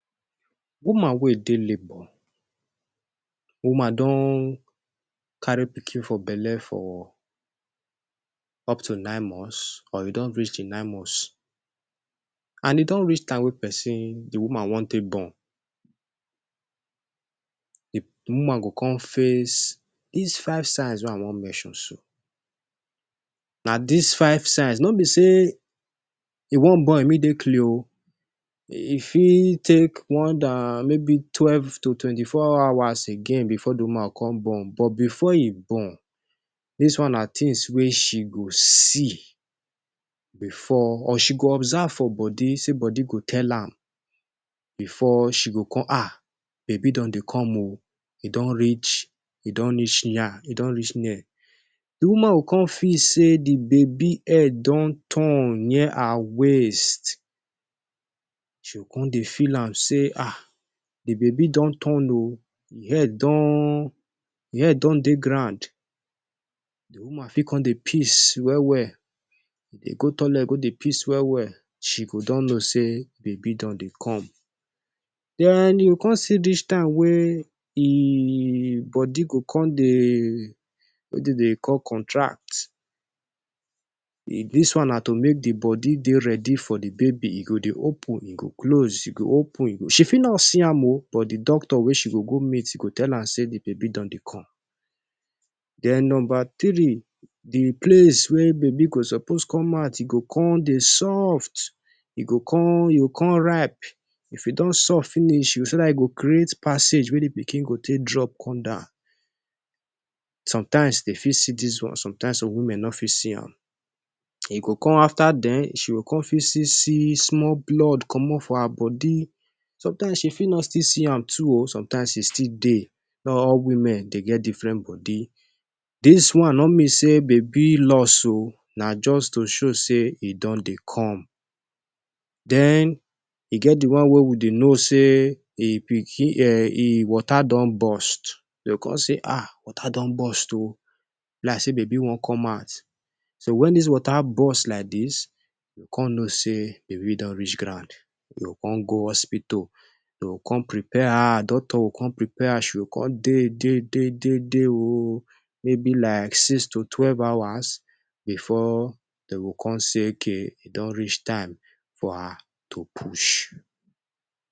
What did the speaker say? Woman wey e dey labour, woman don carry pikin for belle for up to nine months, or you don reach di nine months, and e don reach time wey pesin, di woman, wan take born. Di woman go come face dis five signs wey I wan mention so. Na dis five signs, no be say e wan born immediately o. E fit take more than maybe twelve to twenty-four hours again bifor di woman come born. But bifor e born, dis one na tins wey she go see bifor, or she go observe for body, say body go tell am bifor she go come um baby don dey come, e don reach, e don reach here, e don reach near. Di woman go come feel say di baby head don turn near her waist. She come dey feel am say um di baby don turn o, im head don, im head don dey ground. Di woman fit come dey piss well well, e dey go toilet go dey piss well well. She go don know say baby don dey come. Den you go come see dis time wey e body go come dey wey dem dey call contract. Dis one na to make di body dey ready for di baby. E go dey open, e go close, e go open. She fit no see am o, but di doctor wey she go go meet, e go tell am say di baby don dey come. Den numba three, di place wey baby go suppose come out, e go come dey soft, e go come, e go come ripe. If e don soft finish, so dat e go create passage wey di pikin go take drop come down. Somtime dem fit see dis one. Somtime, some women no fit see am. E go come afta den, she go come fit see small blood comot for her body. Somtime she fit no still see am too o. Somtime e still dey. All women dey get diffren body. Dis one no mean say baby loss o. Na just to show say e don dey come. Den e get di one wey we dey know say e pikin um e water don burst. E go come say um water don burst o be like say baby wan come out. So, wen dis water burst like dis, we come know say baby don reach ground. You go come go hospital, dem go come prepare am. Doctor go come prepare am. She go come dey, dey, dey, dey dey o, maybe like six to twelve hours bifor dem go come say okay e don reach time for her to push.